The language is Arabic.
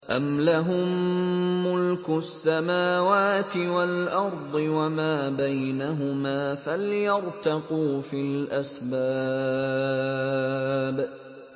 أَمْ لَهُم مُّلْكُ السَّمَاوَاتِ وَالْأَرْضِ وَمَا بَيْنَهُمَا ۖ فَلْيَرْتَقُوا فِي الْأَسْبَابِ